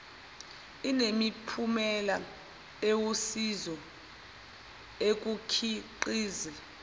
inemiphumela ewusizo ekukhiqiz